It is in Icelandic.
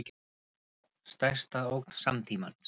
Stærsta ógn samtímans